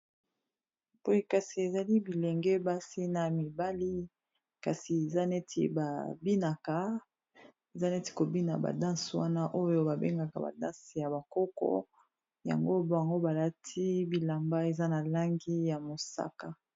Boye kasi ezali bilenge basi na mibali kasi eza neti kobina badanse wana oyo babengaka badanse ya bakoko yango bango balati bilamba eza na langi ya mosaka